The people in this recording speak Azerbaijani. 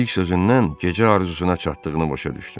İlk sözündən gecə arzusuna çatdığını başa düşdüm.